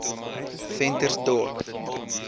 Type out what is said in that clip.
ventersdorp